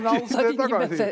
Me oleme ausad inimesed.